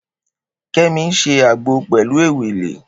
Kemi n sé ágbó pèlú éwélé